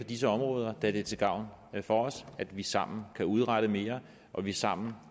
disse områder da det er til gavn for os at vi sammen kan udrette mere og at vi sammen